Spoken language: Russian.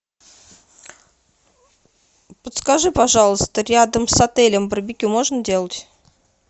подскажи пожалуйста рядом с отелем барбекю можно делать